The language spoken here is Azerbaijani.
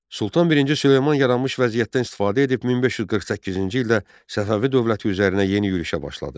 Sultan I Süleyman yaranmış vəziyyətdən istifadə edib 1548-ci ildə Səfəvi dövləti üzərinə yeni yürüşə başladı.